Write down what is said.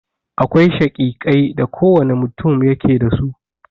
Akwai shakikai da kowane mutun yake da su.